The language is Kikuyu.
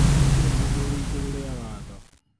gũtirĩ mũndũ ũrĩ igũrũ rĩa watho